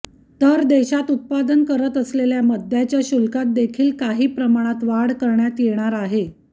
तर देशात उत्पादन करत असलेल्या मद्याच्या शुल्कात देखील काही प्रमाणमत वाढ करण्यात येणार आहे